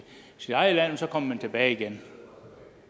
sit eget land og så kommer man tilbage igen